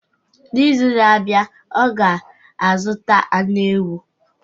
N'izu na-abịa, ọ ga-azụta anụ ewu